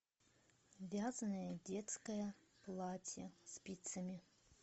вязаное детское платье спицами